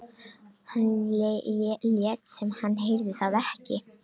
Hann lét sem hann heyrði það ekki.